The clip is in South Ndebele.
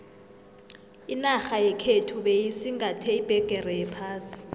inarha yekhethu beyisingathe iphegere yephasi